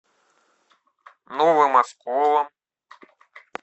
новым осколом